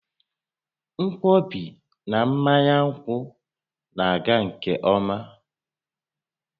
Nkwọbi na mmanya nkwụ na-aga nke ọma